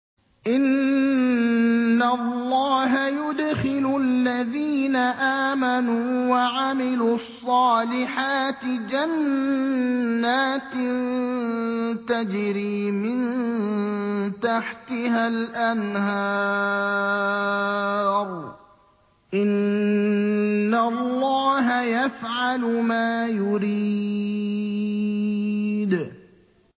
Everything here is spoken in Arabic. إِنَّ اللَّهَ يُدْخِلُ الَّذِينَ آمَنُوا وَعَمِلُوا الصَّالِحَاتِ جَنَّاتٍ تَجْرِي مِن تَحْتِهَا الْأَنْهَارُ ۚ إِنَّ اللَّهَ يَفْعَلُ مَا يُرِيدُ